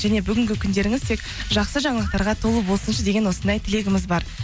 және бүгінгі күндеріңіз тек жақсы жаңалықтарға толы болсыншы деген осындай тілегіміз бар